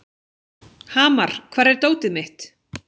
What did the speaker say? Hamar, hvar er dótið mitt?